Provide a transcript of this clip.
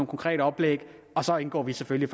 konkrete oplæg og så indgår vi selvfølgelig